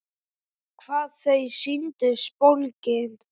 Hvað þau sýndust bólgin!